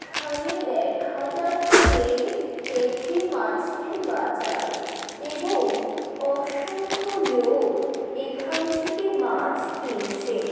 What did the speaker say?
এখানে দেখা যাচ্ছে একটি মাছের বাজার এবং অসংখ্য লোক এখান থেকে মাছ কিনছেন।